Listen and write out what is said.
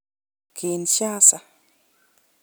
Kinshasa.